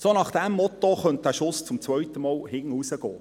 Nach diesem Motto könnte der Schuss zum zweiten Mal nach hinten losgehen.